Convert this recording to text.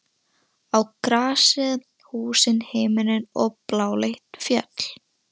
Á grasið, húsin, himininn og bláleit fjöll.